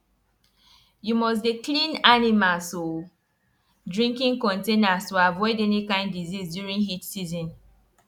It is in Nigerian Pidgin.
you must dey clean animals um drinking containers to avoid any kind disease during heat season